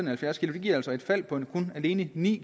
halvfjerds kg giver altså et fald på alene ni